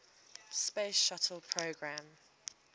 space shuttle program